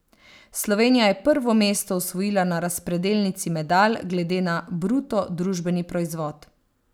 Slovenija je prvo mesto osvojila na razpredelnici medalj glede na bruto družbeni proizvod.